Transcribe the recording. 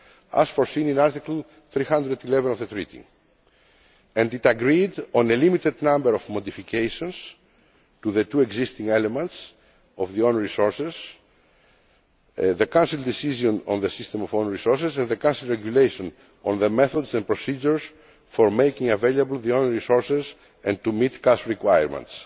as foreseen in Article311 of the Treaty, and it agreed on a limited number of modifications to the two existing elements of the own resources the Council decision on the system of own resources, and the Council regulation on the methods and procedure for making available own resources and to meet cash requirements.